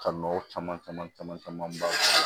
Ka nɔgɔ caman caman caman caman b'a la